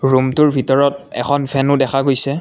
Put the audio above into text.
Room টোৰ ভিতৰত এখন ফেন ও দেখা গৈছে।